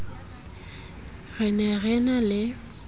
re ne re na le